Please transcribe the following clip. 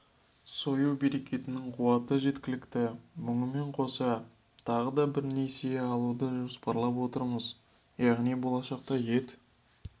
сою бекетінің қуаты жеткілікті мұнымен қоса тағы да несие алуды жоспарлап отырмыз яғни болашақта ет